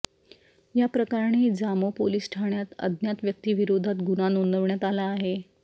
या प्रकरणी जामो पोलीस ठाण्यात अज्ञात व्यक्तीविरोधात गुन्हा नोंदवण्यात आला आहे